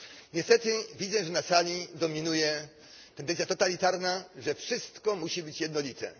Niestety, widzę, że na sali dominuje tendencja totalitarna, że wszystko musi być jednolite.